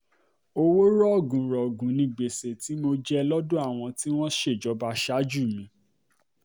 owó rọ̀gùnrọ̀gùn ni gbèsè tí mo jogún lọ́dọ̀ àwọn tí wọ́n ṣèjọba ṣáájú mi